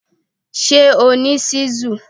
Ṣé o ní ṣíṣù?